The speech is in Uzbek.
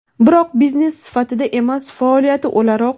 Biroq biznes sifatida emas, faoliyati o‘laroq.